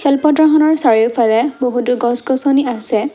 খেলপথাৰ খনৰ চাৰিওফালে বহুতো গছ-গছনি আছে।